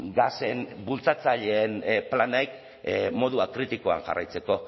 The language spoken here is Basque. gasen bultzatzaileen planek modu akritikoan jarraitzeko